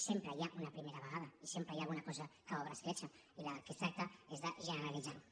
sempre hi ha una primera vegada i sempre hi ha una cosa que obre escletxa i del que es tracta és de generalitzar ho